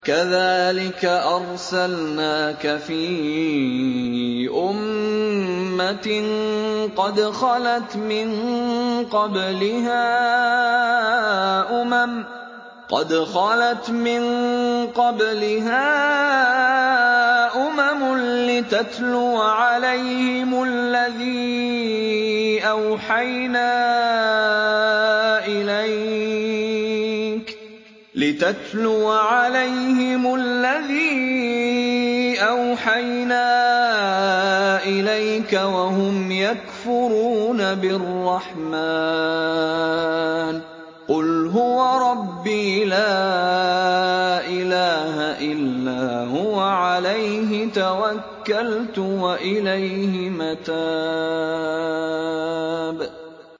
كَذَٰلِكَ أَرْسَلْنَاكَ فِي أُمَّةٍ قَدْ خَلَتْ مِن قَبْلِهَا أُمَمٌ لِّتَتْلُوَ عَلَيْهِمُ الَّذِي أَوْحَيْنَا إِلَيْكَ وَهُمْ يَكْفُرُونَ بِالرَّحْمَٰنِ ۚ قُلْ هُوَ رَبِّي لَا إِلَٰهَ إِلَّا هُوَ عَلَيْهِ تَوَكَّلْتُ وَإِلَيْهِ مَتَابِ